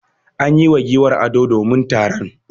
An yi wa giwar ado domin taron.